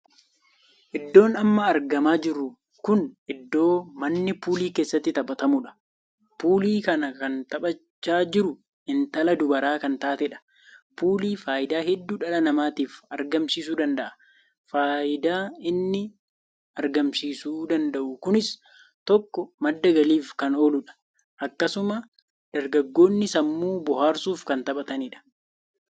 Iddoon amma argamaa jiru kun iddoo manni puulii keessatti taphatamuudha. puulii kana kan taphachaa jiru intala dubaraa kan taateedha. puulii faayidaa hedduu dhala namaatiif argamsiisu danda'a. faayidaa innis argamsiisu danda'u kunis tokko madda galiif kan ooludha. akkasuma dargaggoonni sammuu booharsuuf kan taphataniidha.